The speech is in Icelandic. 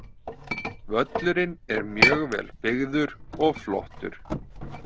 Völlurinn er mjög vel byggður og flottur.